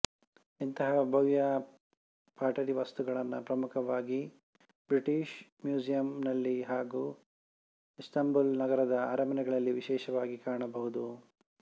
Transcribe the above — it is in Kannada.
ಇಂತಹ ಭವ್ಯ ಪಾಟರಿ ವಸ್ತುಗಳನ್ನು ಪ್ರಮುಖವಾಗಿ ಬ್ರಿಟಿಷ್ ಮ್ಯೂಸಿಯೆಮ್ ನಲ್ಲಿ ಹಾಗೂ ಇಸ್ಟಾನ್ಬುಲ್ ನಗರದ ಅರಮನೆಗಳಲ್ಲಿ ವಿಶೇಷವಾಗಿ ಕಾಣಬಹುದು